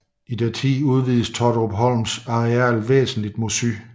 I deres tid udvidedes Totterupholms areal væsentligt mod syd